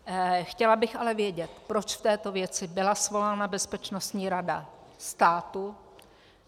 Chtěla bych ale vědět, proč k této věci byla svolána Bezpečnostní rada státu.